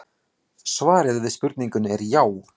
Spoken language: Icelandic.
Svarið við spurningunni er já.